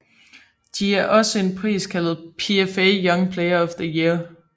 De er også en pris kaldet PFA Young Player of the Year